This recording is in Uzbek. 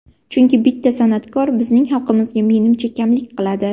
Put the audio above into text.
Chunki bitta san’atkor bizning xalqimizga menimcha kamlik qiladi.